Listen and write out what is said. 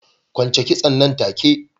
Kwance kitson nan take!